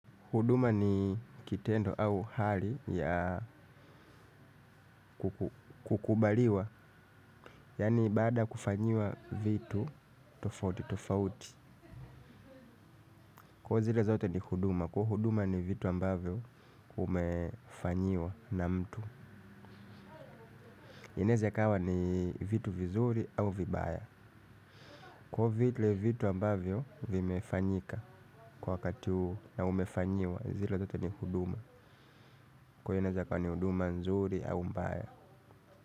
Huduma ni kitendo au hali ya kukubaliwa. Yani baada kufanyiwa vitu, tofauti, tofauti. Kwa zile zote ni huduma, kwa huduma ni vitu ambavyo umefanyiwa na mtu. Inaweza ikawa ni vitu vizuri au vibaya. Kwa vile vitu ambavyo vimefanyika kwa wakati huo na umefanyiwa zile zote ni huduma. Kwa hio inaweza ikawa ni huduma nzuri au mbaya.